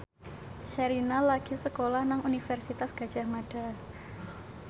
Sherina lagi sekolah nang Universitas Gadjah Mada